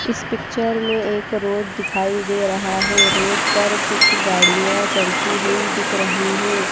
इस पिक्चर में एक रोड दिखाई दे रहा है। रोड पर कुछ गाड़ियां चलती हुई दिख रही है।